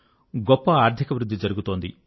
గొప్ప ఆర్థిక వృద్ధి జరుగుతున్నది